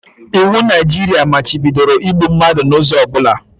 Iwu Naijiria machibidoro igbu mmadụ n'ụzọ ọ bụla